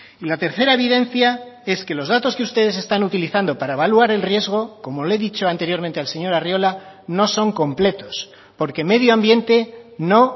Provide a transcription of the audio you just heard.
y la tercera evidencia es que los datos que ustedes están utilizando para evaluar el riesgo como le he dicho anteriormente al señor arriola no son completos porque medio ambiente no